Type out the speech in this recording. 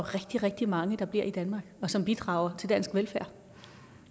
rigtig rigtig mange der bliver i danmark og som bidrager til dansk velfærd